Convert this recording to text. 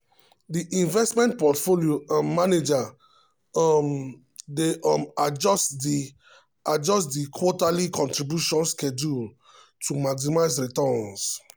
di investment portfolio um manager um dey um adjust di adjust di quarterly contribution schedule to maximize returns.